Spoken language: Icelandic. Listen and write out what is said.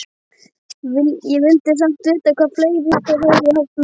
Ég vildi samt vita hvað fleira þeir hefðu haft meðferðis.